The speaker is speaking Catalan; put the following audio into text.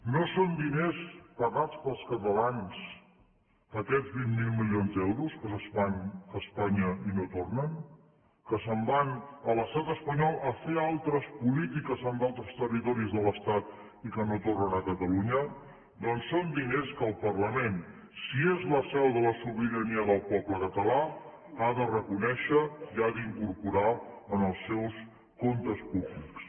no són diners pagats pels catalans aquests vint miler milions d’euros que se’n van a espanya i no tornen que se’n van a l’estat espanyol a fer altres polítiques en d’altres territoris de l’estat i que no tornen a catalunya doncs són diners que el parlament si és la seu de la sobirania del poble català ha de reconèixer i ha d’incorporar en els seus comptes públics